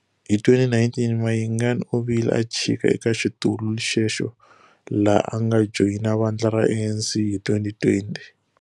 Hi 2019 Mayengani u vile a chika eka xitulu xexo laha a nga joyina vandla ra ANC hi 2020.